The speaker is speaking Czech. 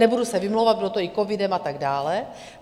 Nebudu se vymlouvat, bylo to i covidem a tak dále.